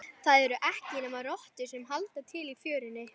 Það eru ekki nema rottur sem halda til í fjörunni.